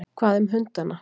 Hvað um hundana?